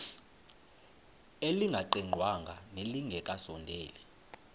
elingaqingqwanga nelinge kasondeli